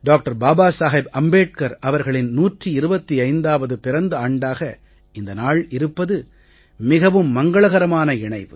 பாபா சாஹேப் அம்பேட்கர் அவர்களின் 125வது பிறந்த ஆண்டாக இந்த நாள் இருப்பது மிகவும் மங்களகரமான இணைவு